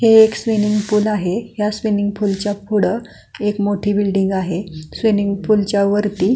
इथे एक swimming pool आहे त्याच्या पुढं एक मोठी बिल्डिंग आहे स्विमिन्ग पूल च्या वरती--